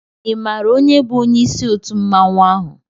I mààra onye bu onyé isi òtú mmanwu áhù?